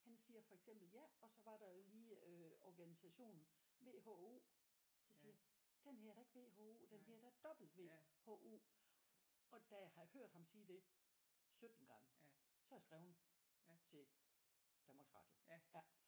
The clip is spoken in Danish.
Han siger for eksempel ja og så var der lige øh organisationen V H O så siger jeg den hedder da ikke V H O den hedder da W H O og da jeg har hørt ham sige det 17 gange så har jeg skreven til Danmarks Radio ja